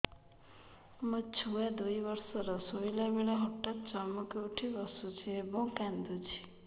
ମୋ ଛୁଆ ଦୁଇ ବର୍ଷର ଶୋଇଲା ବେଳେ ହଠାତ୍ ଚମକି ଉଠି ବସୁଛି ଏବଂ କାଂଦୁଛି